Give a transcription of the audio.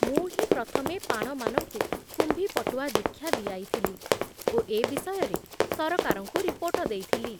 ମୁଁ ହିଁ ପ୍ରଥମେ ପାଣମାନଙ୍କୁ କୁମ୍ଭୀପଟୁଆ ଦୀକ୍ଷା ଦିଆଇଥିଲି ଓ ଏ ବିଷୟରେ ସରକାରଙ୍କୁ ରିପୋର୍ଟ ଦେଇଥିଲି ।